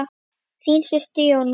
Þín systir, Jóna.